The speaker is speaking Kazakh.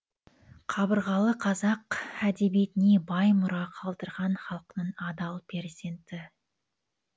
қабырғалы қазақ әдебиетіне бай мұра қалдырған халқының адал перзенті